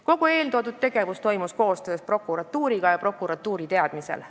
Kogu eeltoodud tegevus toimus koostöös prokuratuuriga ja prokuratuuri teadmisel.